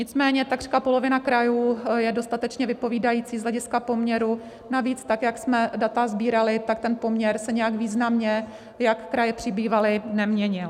Nicméně takřka polovina krajů je dostatečně vypovídající z hlediska poměru, navíc tak, jak jsme data sbírali, tak ten poměr se nijak významně, jak kraje přibývaly, neměnil.